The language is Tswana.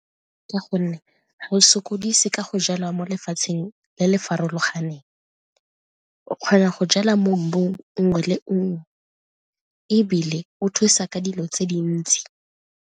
Ka gonne ga o sokodise ka go jala mo lefatsheng le le farologaneng, o kgona go jala mo mmung nngwe le nngwe ebile o thusa ka dilo tse dintsi.